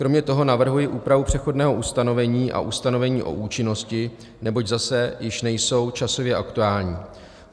Kromě toho navrhuji úpravu přechodného ustanovení a ustanovení o účinnosti, neboť zase již nejsou časově aktuální.